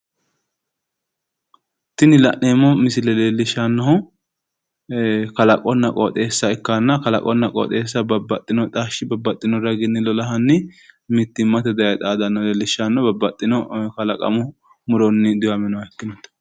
Tini la'neemmo misile leellishannohu kalaqonna qooxxeessa ikkanna babbaxino raginni lolahanni daani babbaxxino kalaqamu muronni diwaminoha xawissanno.